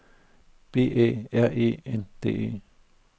B Æ R E N D E